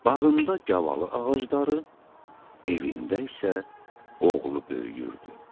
Bağında gavalı ağacları, evində isə oğlu böyüyürdü.